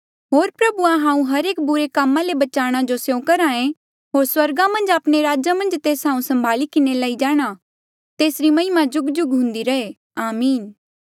होर प्रभुआ हांऊँ हर एक बुरे कामा ले बचाणा जो स्यों करहा ऐें होर स्वर्गा मन्झ आपणे राजा मन्झ तेस हांऊँ सम्भाली किन्हें लई जाणा तेसरी महिमा जुगजुग हुन्दी रहे आमीन